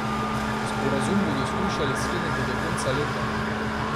Sporazum bodo skušali skleniti do konca leta.